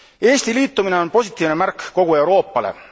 Eesti liitumine on positiivne märk kogu Euroopale.